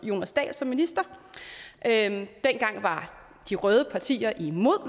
jonas dahl som minister dengang var de røde partier imod